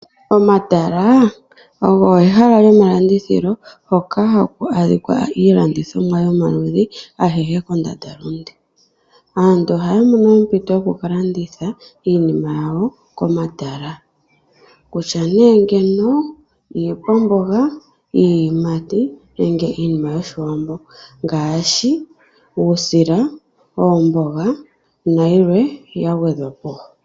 Omatala ogo ehala lyomalandithilo, hoka haku adhika iilandithomwa yomaludhi agehe kondandalunde. Aantu ohaya mono ompinto yokuka landitha iinima yawo komatala ongaashi iikwamboga, iiyimati. Ohaya landitha wo iinima yOshiwambo ngaashi uusila, oomboga nayilwe ya gwedhwa po.